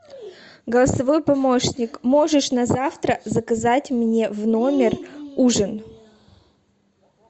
голосовой помощник можешь на завтра заказать мне в номер ужин